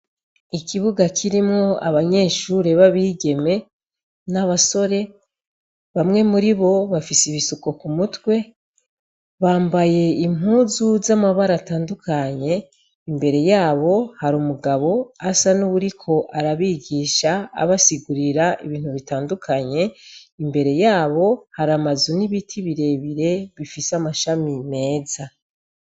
Ikibuga kirimwo abanyeshure bab'igeme 'abasore, bamwe muribo bafise ibisuko ku mutwe, bambaye impuzu zamabara atandukanye, imbere yabo har'umugabo asa n'uwuriko arabigisha abasigurira ibintu bitandukanye, imbere yaho har'amazu n'ibiti birebire bifise amashami meza.